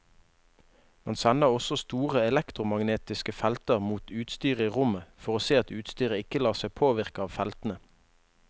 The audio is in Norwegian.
Man sender også store elektromagnetiske felter mot utstyret i rommet for å se at utstyret ikke lar seg påvirke av feltene.